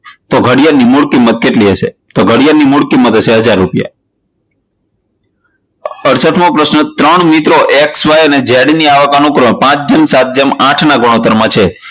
તો ઘડિયાળ ની મુલકિમત કેટલી હશે? તો ઘડિયાળની મૂલકીમત હશે હજાર રૂપિયા. અડસઠ મો પ્રશ્ન ત્રણ મિત્રો XY અને Z ની આવક અનુક્રમે પાંચ જેમ સાત જેમ આઠ ના ગુણોત્તર માં છે.